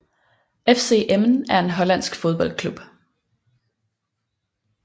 FC Emmen er en hollandsk fodboldklub